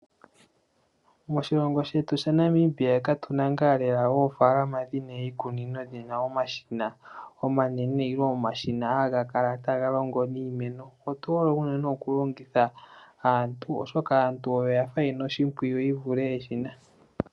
Moshilongo shetu shaNamibia katuna ngaa oofaalama dhina iikunino yina omashina omanene nenge omashina haga kala taga longo niimeno. Otu hole unene okulongitha aantu, oshoka aantu oyo ya fa ye na oshimpwiyu ye vulithe eshina.